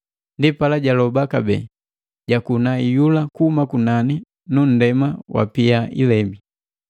Ndipala jaloba kabee, jakuna iyula kuhuma kunani nu nndema wapia ilebi.